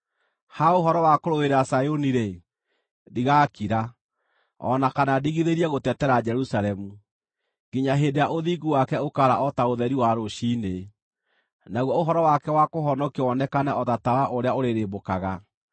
Ha ũhoro wa kũrũĩrĩra Zayuni-rĩ, ndigakira, o na kana ndigithĩrie gũtetera Jerusalemu, nginya hĩndĩ ĩrĩa ũthingu wake ũkaara o ta ũtheri wa rũciinĩ, naguo ũhoro wake wa kũhonokio wonekane o ta tawa ũrĩa ũrĩrĩmbũkaga.